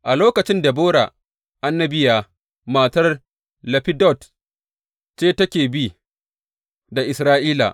A lokacin Debora annabiya, matar Laffidot ce take bi da Isra’ila.